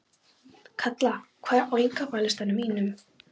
Kalla, hvað er á innkaupalistanum mínum?